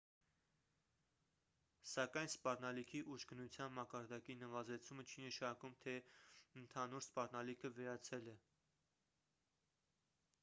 սակայն սպառնալիքի ուժգնության մակարդակի նվազեցումը չի նշանակում թե ընդհանուր սպառնալիքը վերացել է